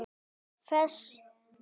Þess óska ég aldrei.